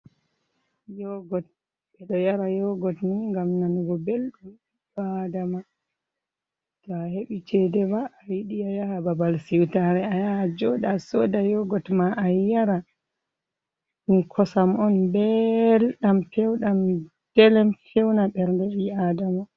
Yogot, ɓe ɗo njara yogot ni ngam nanugo belɗum ɓiɗɗo aadama. To a heɓi ceede maa to a yiɗi a yaha babal siwtaare a yaha a jooɗo a sooda yogot maa a yara. Ɗum kosam on mbelɗam peewɗam delem, feewna ɓernde ɓi aadama.